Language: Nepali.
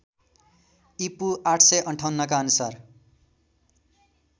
ईपू ८५८ का अनुसार